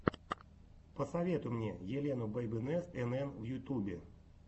посоветуй мне елену бэйбинест энэн в ютубе